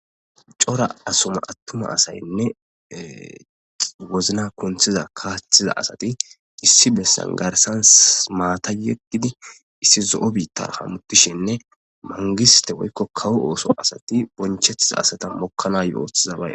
Cora atuma asayne wozana kunthida kaathiza asay issi besan garsan maata yeggidi issi zo'o biitan hamutishene mangiste woyko kawo ooso asati boncetiza asata mokanayo.